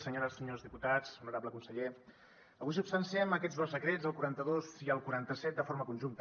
senyores senyors diputats honorable conseller avui substanciem aquests dos decrets el quaranta dos i el quaranta set de forma conjunta